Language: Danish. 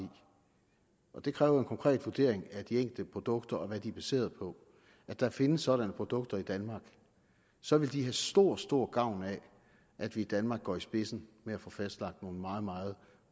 og det kræver konkret vurdering af de enkelte produkter og hvad de er baseret på at der findes sådanne produkter i danmark så vil de have stor stor gavn af at vi i danmark går i spidsen med at få fastlagt nogle meget meget